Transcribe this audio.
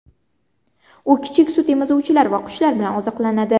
U kichik sutemizuvchilar va qushlar bilan oziqlanadi.